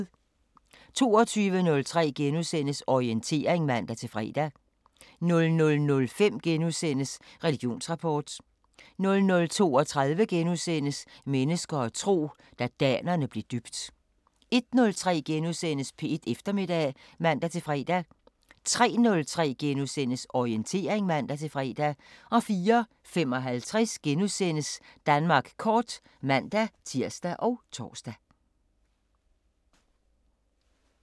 22:03: Orientering *(man-fre) 00:05: Religionsrapport * 00:32: Mennesker og tro: Da danerne blev døbt * 01:03: P1 Eftermiddag *(man-fre) 03:03: Orientering *(man-fre) 04:55: Danmark kort *(man-tir og tor)